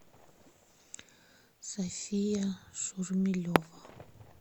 софия шурмилева